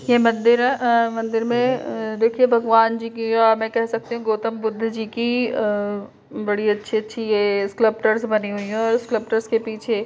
यह मंदिर अ मंदिर में अ देखिए भगवान जी की या हम कह सकते है गौतम बुद्ध जी की अ बड़ी अच्छी-अच्छी ये स्क्लब्टर्स बनी हुई हैं और स्क्लब्टर्स के पीछे --